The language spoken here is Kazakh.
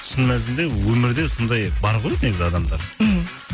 шын мәнісінде өмірде сондай бар ғой негізі адамдар мхм